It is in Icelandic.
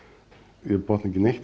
ég botna ekki neitt